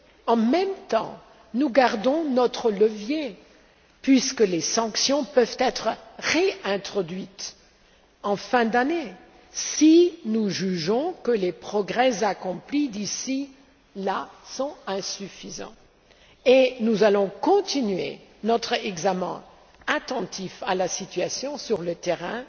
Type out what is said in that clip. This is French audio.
En même temps, nous gardons notre levier puisque les sanctions peuvent être réintroduites en fin d'année si nous jugeons que les progrès accomplis d'ici là sont insuffisants, et nous allons continuer notre examen en restant attentifs à la situation sur le terrain